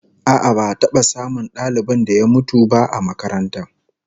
A'a, ba'a taba samun dalibin da ya mutum ba a makarantar